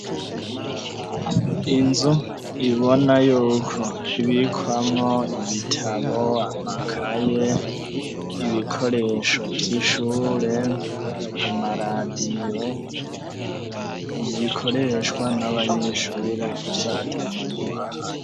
Inzu ubona yuko ibikwamwo ibitabo, amakaye, ibikoresho vy'ishure, amaradiyo, bikoreshwa n'abanyeshure gusa atamuntu ahari.